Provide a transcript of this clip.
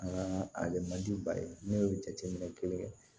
An ka ali mandi ba ye ne ye jateminɛ kelen kɛ